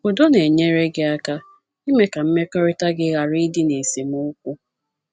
Udo na - enyere gị aka ime ka mmekọrịta gị ghara ịdị na esemokwu.